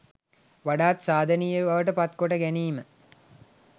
වඩාත් සාධනීය බවට පත් කොට ගැනීම